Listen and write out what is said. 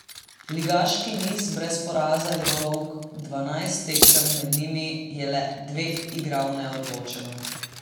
Ligaški niz brez poraza je dolg dvanajst tekem, med njimi je le dve igral neodločeno.